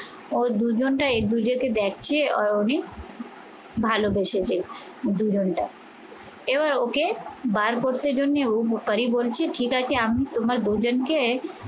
ওর দুজনটা এ দুজনকে দেখে আর উনি ভালোবেসেছে দুজনটা। এবার ওকে বার করতে জন্যে ওপারী বলছে ঠিক আছে আমি তোমার দুজনকে